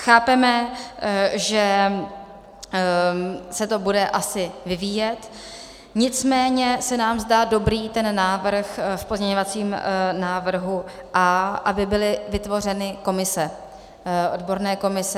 Chápeme, že se to bude asi vyvíjet, nicméně se nám zdá dobrý ten návrh v pozměňovacím návrhu A, aby byly vytvořeny komise, odborné komise.